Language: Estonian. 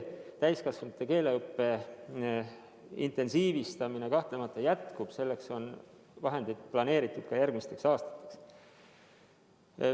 Täiskasvanute keeleõppe intensiivistamine kahtlemata jätkub, selleks on vahendid planeeritud ka järgmisteks aastateks.